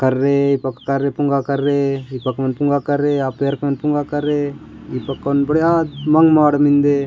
कर्रे पोक कार्य पोंगा करे दीपक मन पोंगा कररे अपेर मन कोन पोंगा कर रे बढ़िया मन बड़ मिन्दे।